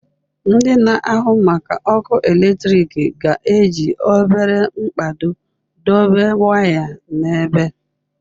Ndị na-ahụ maka ọkụ eletrik ga-eji obere mkpado dobe waya n'ebe.